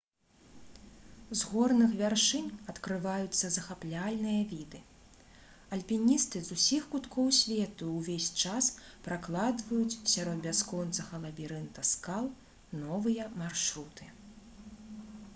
з горных вяршынь адкрываюцца захапляльныя віды альпіністы з усіх куткоў свету увесь час пракладваюць сярод бясконцага лабірынта скал новыя маршруты